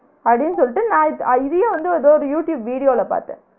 அப்டின்னு சொல்ட்டு நான் இத்~ இதயும் வந்து ஏதோரு யூடூப் video ல பாத்தன்